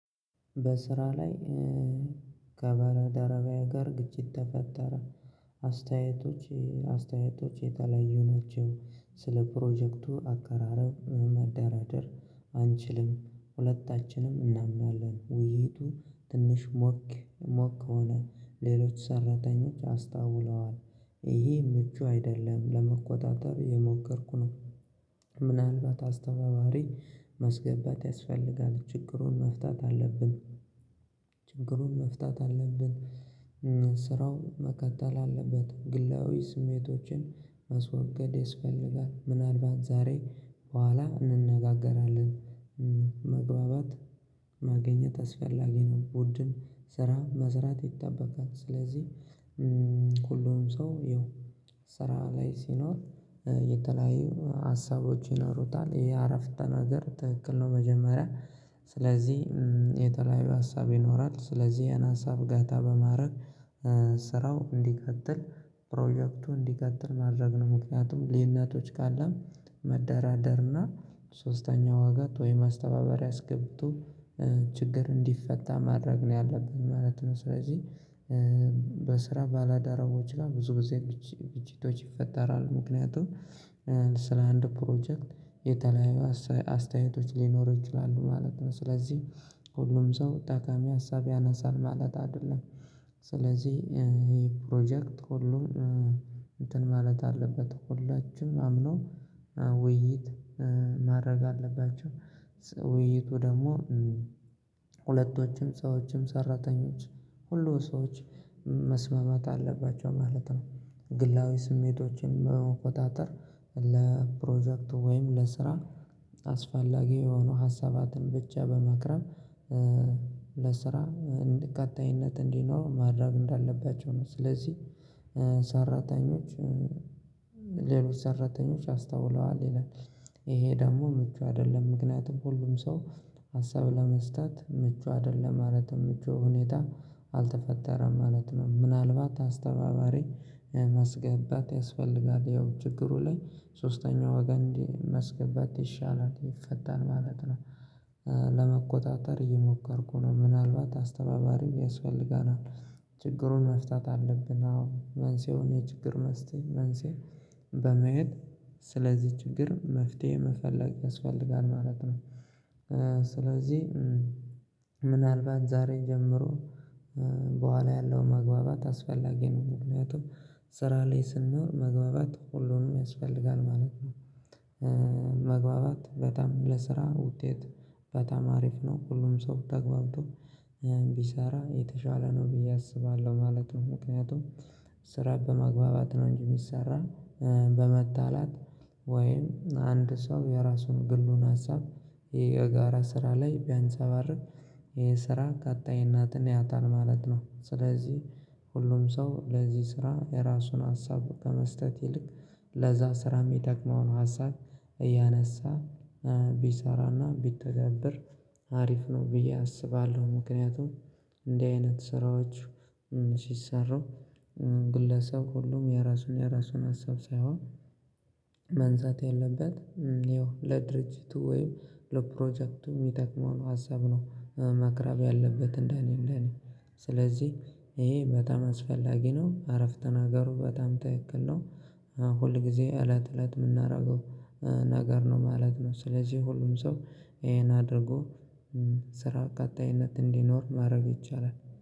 በስራ ላይ ከባልደረባየ ጋር ግጭት ተፈጠረ። አስተያየቶች የተለያዩ ናቸው። ስለ ፕሮጀክቱ አቀራረብ መደራደር አንችልም። ሁለታችንም እናምናለን ውይይቱ ትንሽ ሞቅ ሞቅ ከሆነ ሌሎች ሰራተኞች አስታውለዋል። ይሄም ምቹ አይደለም ለመቆጣጠር የሞከርኩ ነው። ምናልባት አስተባባሪ ማስገባት ያስፈልጋል ችግሩን መፍታት አለብን። ችግሩን መፍታት አለብን። ስራው መከተል አለበት ግላዊ ስሜቶችን ማስወገድ ያስፈልጋል ምናልባት ዛሬ በኋላ እንነጋገራለን። መግባባት ማግኘት አስፈላጊ ነው። ቡድን ስራ መዝራት ይጠበቃል። ስለዚህ ሁሉም ሰው ይኸው ስራ ላይ ሲኖር የተለያዩ ሀሳቦች ይኖሩታል ይሄ አረፍተ ነገር ትክክል ነው። መጀመሪያ ስለዚህ የተለያዩ ሀሳብ ይኖራል ስለዚህ ያን ሀሳብ ገታ በማድረግ ስራው እንዲቀጥል ፕሮጀክቱ እንዲቀጥል ማድረግ ነው። ምክንያቱም ልዩነትምነቶች ካለም መደራደርና ሶስተኛ ዋገን ወይ ማስተባበሪያ አስገብቶ ችግር እንዲፈታ ማድረግ ነው ያለብን ማለት ነው። ስለዚህ ባላዳራዎች ጋር ብዙ ብዙ ግጂቶች ይፈጠራሉ። ምክንያቱም ስለ አንድ ፕሮጀክት የተለያዩ አስተያየቶች ሊኖሩ ይችላሉ ማለት ነው። ስለዚህ ሁሉም ሰው ጠቃሚ ሀሳብ ያነሳል ማለት አይደለም። ስለዚህ ይሄ ፕሮጀክት ሁሉም እንትን ማለት አለበት ሁላችንም አምነው ውይይት ማድረግ አለባቸው። ደግሞ ሁለቶችም ሰዎችም ሰራተኞች ሁሉ ሰዎች መስማማት አለባቸው ማለት ነው። ግላዊ ስሜቶችን በመቆጣጠር ለፕሮጀክቱ ወይም ለስራ አስፋላጊ የሆኑ ሀሳባትን ብቻ በማቅረብ ለስራ እንዲህ ቀጣይነት እንዲኖር ማድረግ እንዳለባቸው ነው። ስለዚህ ሰራተኞች ሌሎች ሰራተኞች አስታተውለዋል ይላል። ይሄ ደግሞ ምቹ አይደለም ምክንያቱም ሁሉም ሰው ሀሳብ ለመስጠት ምቹ አይደለም ማለትም ምቹ ሁኔታ አልተፈጠረም ማለት ነው። ምናልባት አስተባባሪ ሜስገባት ያስፈልጋል ያው ችግሩ ላይ ሶስተኛ ወገን ማስገባት ይሻላል ይፈታል ማለት ነው። ለመቆጣጠር እየሞከርኩ ነው ምናልባት አስተባባሪም ያስፈልጋል ችግሩን መፍታት አለብን። አዎ መንሴውን የችግር መስቴ መንሴ በመሄድ ስለዚህ ችግር መፍትሄ መፈለግ ያስፈልጋል ማለት ነው። ስለዚህ ምናልባት ዛሬ ጀምሮ ቡሃላ ያለው መግባባት አስፈላጊ ነው። ምክንያቱም ስራ ላይ ስንኖር መግባባት ሁሉንም ያስፈልጋል ማለት ነው። መግባባት በጣም ለስራ ውጤት በጣም አሪፍ ነው ሁሉም ሰው ተገብቶ ያን የተሻለ ነው ብዬ አስባለሁ ማለት ነው። ምክንያቱም ስራ በማግባባት ነው እንጂ እሚሰራ። በመጣላት ወይም አንድ ሰው የራሱን ግሉን ሀሳብ የጋራ ስራ ላይ ቢያንፀባርቅ ይሄ ስራ የእናትን ያታል ማለት ነው። ስለዚህ ሁሉም ሰው ለዚህ ስራ የእራሱን ሀሳብ ከመስጠት ይልቅ ለዛ ስራ እሚጠቅመውን ሀሳብ እያነሳ ቢሰራና ቢተገብር አሪፍ ነው። ብዬ አስባለሁ። ምክንያቱም እንዲህ አይነት ስራዎች ሲሰሩ ግለሰብ ሁሉም የራሱን የራሱን ሀሳብ ሳይሆንቅማንሳት ያለበት ያው ለድርጅቱ ወይም ለፕሮጀክቱ እሚጠቅመውን ሀሳብ ነው ማክረብ ያለበት። እንደኔ እንደኔ ስለዚህ ይሄ በጣም አስፈላጊ ነው አረፍተ ናገሩ በጣም ትክክል ነው። ሁል ጊዜ እለት እለት እምናደርገው ነገር ነው ማለት ነው። ስለዚህ ሁሉም ሰው ይሄን አድርጎ ስራ ቀጣይነት እንዲኖር ማድረግ ይቻላል።